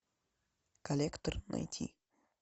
коллектор найти